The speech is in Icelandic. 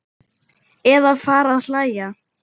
Eða fara að hlæja.